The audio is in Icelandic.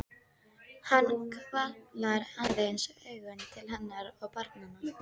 Hann hvarflar aðeins augum til hennar og barnanna.